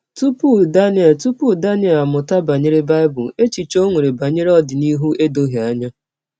Tupu Daniel Tupu Daniel amụta banyere Bible, echiche o nwere banyere ọdịnihu edoghị anya.